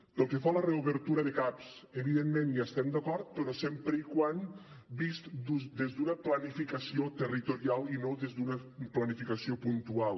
pel que fa a la reobertura de caps evidentment hi estem d’acord però sempre vist des d’una planificació territorial i no des d’una planificació puntual